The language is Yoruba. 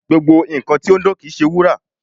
Gbogbo nkan ti o n dan kii ṣe wura